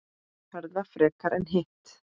Herða frekar en hitt?